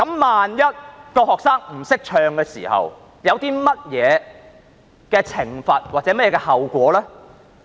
萬一學生不懂得唱國歌，會有甚麼懲罰或後果呢？